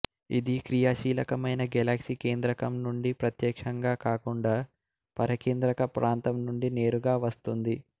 ఇది క్రియాశీలకమైన గెలాక్సీ కేంద్రకం నుండి ప్రత్యక్షంగా కాకుండా పరికేంద్రక ప్రాంతం నుంచి నేరుగా వస్తుంది